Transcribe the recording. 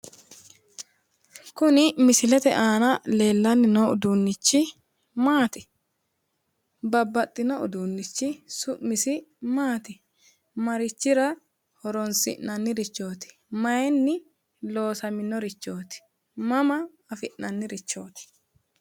Kuni misilete aana leellanni noo uduunnichi maati? Babbaxxino uduunnichi su'misi maati? Marichira horoonsi'nannirichooti? Mayinni loosaminorichooti? Mama afi'nannirichooti?